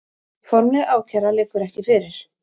Formleg ákæra liggur ekki fyrir